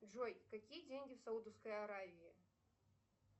джой какие деньги в саудовской аравии